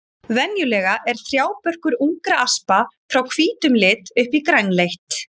Venjulega er trjábörkur ungra aspa frá hvítum lit upp í grænleitt.